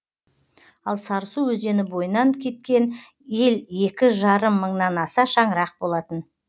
ал сарысу өзені бойынан кеткен ел екі жарым мыңнан аса шаңырақ болатын